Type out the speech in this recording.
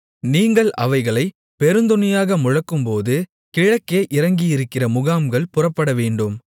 நீங்கள் அவைகளைப் பெருந்தொனியாக முழக்கும்போது கிழக்கே இறங்கியிருக்கிற முகாம்கள் புறப்படவேண்டும்